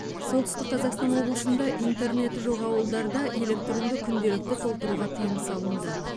солтүстік қазақстан облысында интернеті жоқ ауылдарда электронды күнделікті толтыруға тыйым салынды